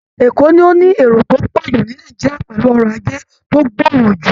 Èkó ni ó ní èrò tó pọ̀ jù ní Nàìjíríà pẹ̀lú ọrọ̀ajé tó gbòòrò jù